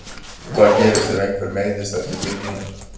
Hvað gerist ef einhver meiðist eftir fimm mínútur?